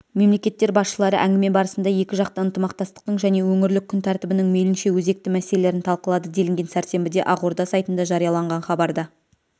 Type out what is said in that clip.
мемлекеттер басшылары әңгіме барысында екіжақты ынтымақтастықтың және өңірлік күн тәртібінің мейлінше өзекті мәселелерін талқылады делінген сәрсенбіде ақорда сайтында жарияланған хабарда